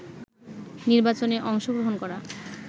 নির্বাচনে অংশগ্রহণ করা